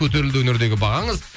көтерілді өнердегі бағаңыз